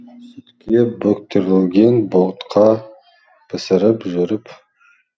сүтке бөктірілген ботқа пісіріп жүріп